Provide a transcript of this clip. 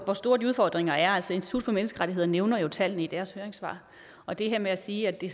hvor store de udfordringer er altså institut for menneskerettigheder nævner jo tallene i deres høringssvar og det her med at sige at det